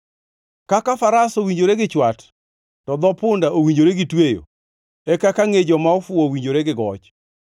Kaka faras owinjore gi chwat, to dho punda owinjore gi tweyo e kaka ngʼe joma ofuwo owinjore gi goch.